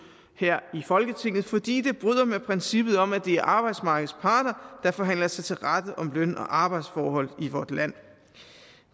her i folketinget fordi det bryder med princippet om at det er arbejdsmarkedets parter der forhandler sig til rette om løn og arbejdsforhold i vort land